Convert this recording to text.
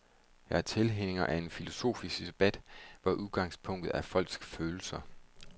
Jeg er tilhænger af en filosofisk debat, hvor udgangspunktet er folks følelser.